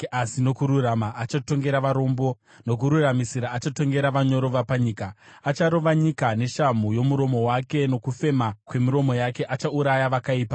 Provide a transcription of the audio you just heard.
asi nokururama achatongera varombo, nokururamisira achatongera vanyoro vapanyika. Acharova nyika neshamhu yomuromo wake; nokufema kwemiromo yake achauraya vakaipa.